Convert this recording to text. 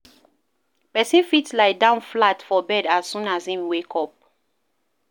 Person fit lie down flat for bed as soon as im wake up